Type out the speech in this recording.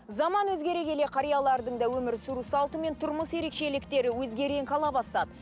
заман өзгере келе қариялардың да өмір сүру салты мен тұрмыс ерекшеліктері өзге реңк ала бастады